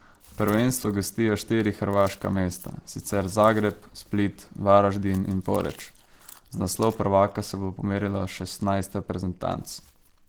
Prvenstvo gostijo štiri hrvaška mesta, in sicer Zagreb, Split, Varaždin in Poreč, za naslov prvaka se bo pomerilo šestnajst reprezentanc.